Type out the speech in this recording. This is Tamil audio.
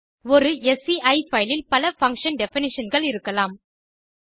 ஒரு ஸ்சி பைல் இல் பல பங்ஷன் definitionகள் இருக்கலாம்